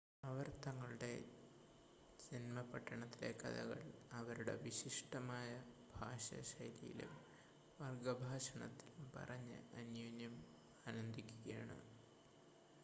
അവർ തങ്ങളുടെ ജൻമപട്ടണത്തിലെ കഥകൾ അവരുടെ വിശിഷ്ടമായ ഭാഷാശൈലിയിലും വർഗ്ഗഭാഷണത്തിലും പറഞ്ഞ് അന്യോന്യം ആനന്ദിക്കുകയാണ്